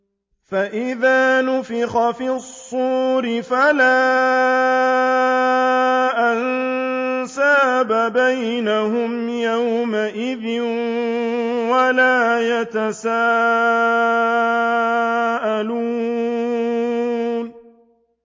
فَإِذَا نُفِخَ فِي الصُّورِ فَلَا أَنسَابَ بَيْنَهُمْ يَوْمَئِذٍ وَلَا يَتَسَاءَلُونَ